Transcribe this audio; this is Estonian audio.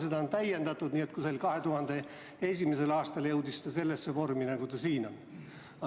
Seda on täiendatud ning 2001. aasta paiku sai ta sellise vormi, nagu siin on.